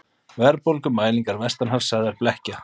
Verðbólgumælingar vestanhafs sagðar blekkja